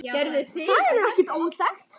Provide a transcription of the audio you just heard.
Það er ekki óþekkt.